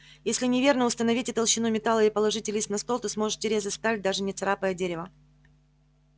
если неверно установите толщину металла и положите лист на стол то сможете резать сталь даже не царапая дерева